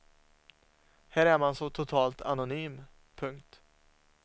Här är man så totalt anonym. punkt